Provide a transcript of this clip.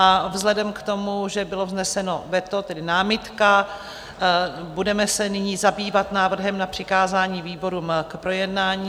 A vzhledem k tomu, že bylo vzneseno veto, tedy námitka, budeme se nyní zabývat návrhem na přikázání výborům k projednání.